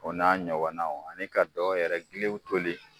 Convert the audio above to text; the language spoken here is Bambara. O n'a ɲɔgɔnnaw ani ka dɔ yɛrɛ giliw toli